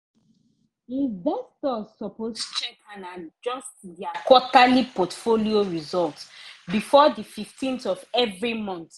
investors suppose check and adjust their quarterly portfolio result before the 15th of every month